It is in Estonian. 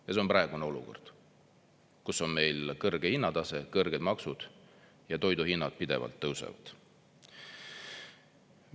Ja see on praegune olukord, kus on meil kõrge hinnatase, kõrged maksud ja toiduhinnad pidevalt tõusevad.